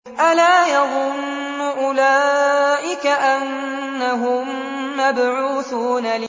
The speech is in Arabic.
أَلَا يَظُنُّ أُولَٰئِكَ أَنَّهُم مَّبْعُوثُونَ